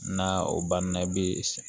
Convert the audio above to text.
Na o banna bi sa